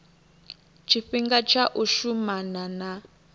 tshifhinga tsha u shumana na